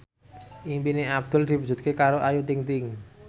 impine Abdul diwujudke karo Ayu Ting ting